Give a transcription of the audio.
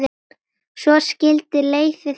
Svo skildi leiðir þeirra.